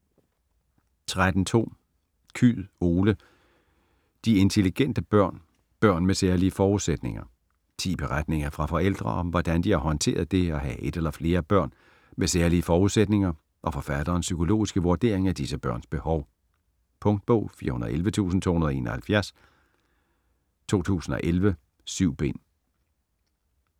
13.2 Kyed, Ole: De intelligente børn: børn med særlige forudsætninger Ti beretninger fra forældre om, hvordan de har håndteret det at have et eller flere børn med særlige forudsætninger, og forfatterens psykologiske vurdering af disse børns behov. Punktbog 411271 2011. 7 bind.